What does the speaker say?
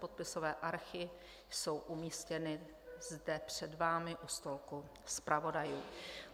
Podpisové archy jsou umístěny zde před vámi u stolku zpravodajů.